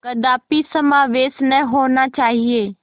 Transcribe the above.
कदापि समावेश न होना चाहिए